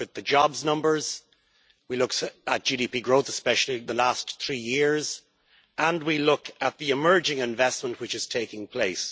We look at the job numbers, we look at GDP growth, especially in the last three years, and we look at the emerging investment which is taking place.